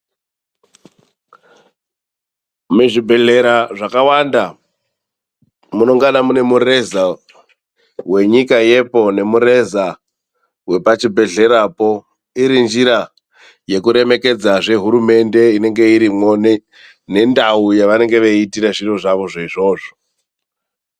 Muzvibhedhlera zvakawanda munongana mune mureza wenyika yepo nemureza wepachibhedhlerapo iri njira yekuremekedzazve hurumende inenge iripo nendau yavanenge veiitire zviro zvavozvo izvozvo.